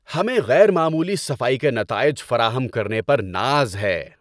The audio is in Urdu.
ہمیں غیر معمولی صفائی کے نتائج فراہم کرنے پر ناز ہے۔